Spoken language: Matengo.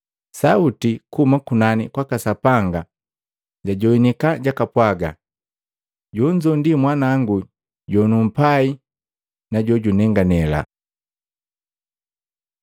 Sauti kuhuma kunani kwaka Sapanga jajoanika jakapwaga, “Jonzo ndi Mwanangu jonumpai, jojunenganile.”